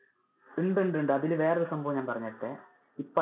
ഉണ്ട് ഉണ്ട് ഉണ്ട്, അതിനു ഞാൻ വേറെ ഒരു സംഭവം ഞാൻ പറഞ്ഞു തരട്ടെ. ഇപ്പൊ